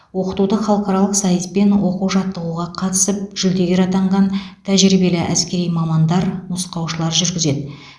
оқытуды халықаралық сайыс пен оқу жаттығуға қатысып жүлдегер атанған тәжірибелі әскери мамандар нұсқаушылар жүргізеді